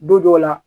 Don dɔw la